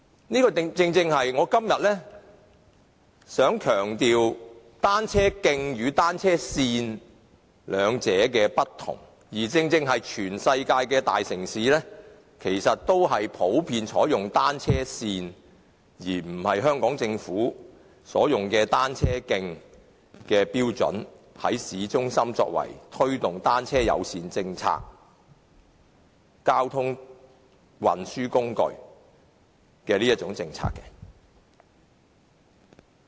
我今天正正想強調單車徑與單車線兩者的不同，而全世界的大城市其實均普遍採用單車線標準，而不是香港政府所採用的單車徑標準，在市中心推動單車友善政策，以及以單車作為交通運輸工具的政策。